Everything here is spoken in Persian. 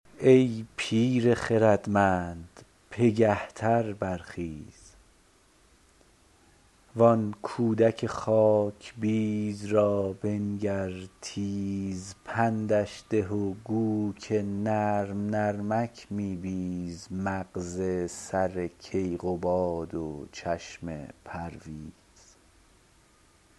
ای پیر خردمند پگه تر برخیز وان کودک خاک بیز را بنگر تیز پندش ده و گو که نرم نرمک می بیز مغز سر کیقباد و چشم پرویز